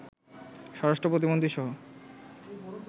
স্বরাষ্ট্র প্রতিমন্ত্রীসহ